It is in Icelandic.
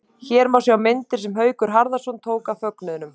Hér má sjá myndir sem Haukur Harðarson tók af fögnuðinum.